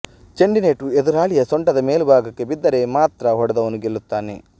ಚೆಂಡಿನೇಟು ಎದುರಾಳಿಯ ಸೊಂಟದ ಮೇಲುಭಾಗಕ್ಕೆ ಬಿದ್ದರೆ ಮಾತ್ರ ಹೊಡೆದವನು ಗೆಲ್ಲುತ್ತಾನೆ